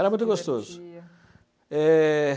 Era muito gostoso. Eh...